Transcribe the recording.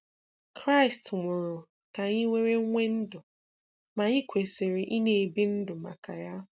Kraịst nwụrụ ka anyị were nwee ndụ ma anyị kwesịrị ị na-ebi ndụ maka Ya.